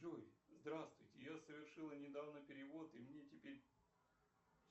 джой здравствуйте я совершила недавно перевод и мне теперь